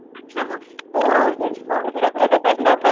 अच्छा म तू अ हेअर स्पा वैगेरे करते का,